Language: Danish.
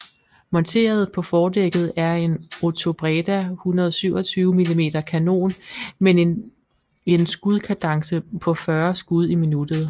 Monteret på fordækket er en Otobreda 127 mm kanon men en skudkadence på 40 skud i minuttet